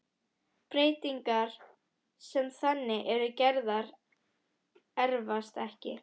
Breytingar sem þannig eru gerðar erfast ekki.